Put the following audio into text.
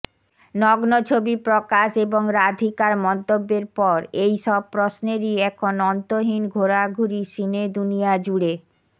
নগ্ন ছবি প্রকাশ এবং রাধিকার মন্তব্যের পর এই সব প্রশ্নেরই এখন অন্তহীন ঘোরাঘুরি সিনেদুনিয়া জুড়ে